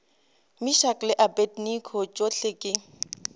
meshack le abednego tšohle ke